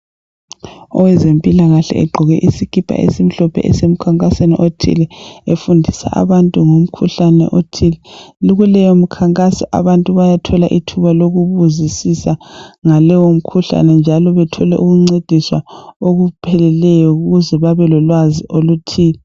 Owezempila kahle egqoke isikipa esimhlophe esemkhankasweni othile efundisa abantu ngomkhuhlane othile. Kuleyo mkhankaso abantu bayathola i thuba lokubuzisisa ngaleyo mkhuhlane njalo bethole ukuncediswa okupheleleyo ukuze babe lolwazi oluthile.